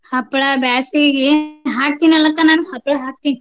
ಹಪ್ಳಾ ಬ್ಯಾಸಗೀಗೆ ಹಾಕೀನಲಕ್ಕ ನಾನ್ ಹಪ್ಳಾ ಹಾಕ್ತೀನ್.